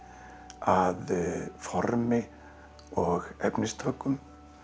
að formi og efnistökum